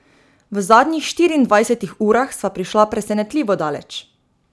V zadnjih štiriindvajsetih urah sva prišla presenetljivo daleč.